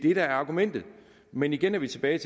er argumentet men igen er vi tilbage